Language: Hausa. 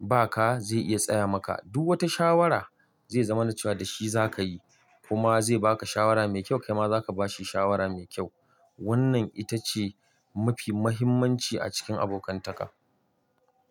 ba ka, zai iya tsaya maka. Du wata shawara, zai zamana cewa da shi za ka yi, kuma zai ba ka shawara mai kyau, kai ma za ka ba shi shawara mai kyau. Wannan ita ce mafi muhimmanci a cikin abokantaka.